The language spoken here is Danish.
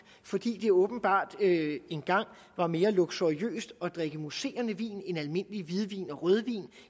fordi det åbenbart engang var mere luksuriøst at drikke mousserende vin end almindelig hvidvin og rødvin